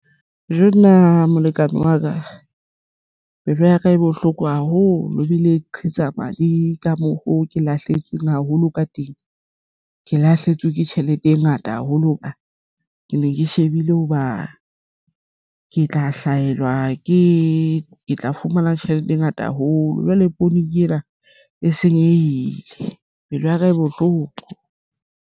Nna molekane wa ka pelo ya ka e bohloko haholo bile qhitsa madi ka mokgo ke lahlehetsweng haholo ka teng ke lahletswe ke tjhelete e ngata haholo hoba ke ne ke shebile hoba ke tla hlahelwa ke tla fumana tjhelete e ngata haholo. Jwale poone ke ena e senyehile pelo ya ka e bohloko.